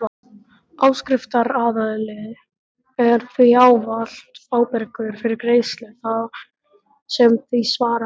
Áskriftaraðili er því ávallt ábyrgur fyrir greiðslu sem því svarar.